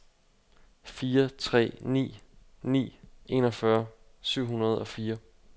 fire tre ni ni enogfyrre syv hundrede og fire